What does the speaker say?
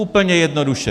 Úplně jednoduše.